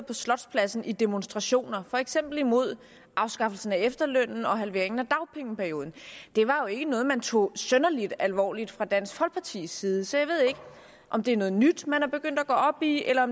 på slotspladsen i demonstrationer for eksempel imod afskaffelsen af efterlønnen og halveringen af dagpengeperioden det var jo ikke noget man tog synderlig alvorligt fra dansk folkepartis side så jeg ved ikke om det er noget nyt man er begyndt at gå op i eller